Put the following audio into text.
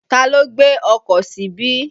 Ta ló gbé ọkọ̀ síbí?